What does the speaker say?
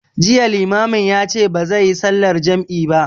Jiya limamin ya ce bazai yi sallar jam'i ba